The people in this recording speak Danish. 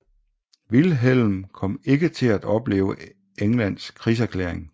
Vilhelm kom ikke til at opleve Englands krigserklæring